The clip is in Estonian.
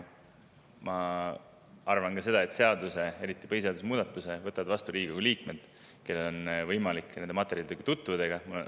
Ma arvan, et seaduse, eriti põhiseaduse muudatuse võtavad vastu Riigikogu liikmed, kellel on võimalik nende materjalidega tutvuda.